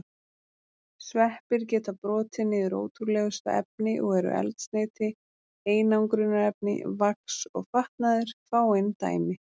Sveppir geta brotið niður ótrúlegustu efni og eru eldsneyti, einangrunarefni, vax og fatnaður fáein dæmi.